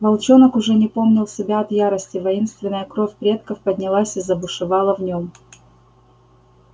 волчонок уже не помнил себя от ярости воинственная кровь предков поднялась и забушевала в нём